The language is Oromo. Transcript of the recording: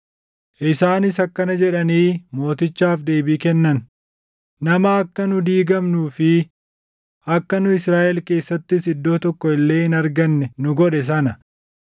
Isaanis akkana jedhanii mootichaaf deebii kennan; “Nama akka nu diigamnuu fi akka nu Israaʼel keessattis iddoo tokko illee hin arganne nu godhe sana,